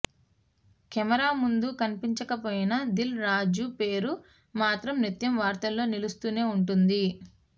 camera ముందు కనిపించకపోయినా దిల్ రాజు పేరు మాత్రం నిత్యం వార్తల్లో నిలుస్తూనే ఉంటుంది